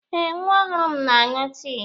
Eh, nwa ọhụrụ m na-aṅụ tii.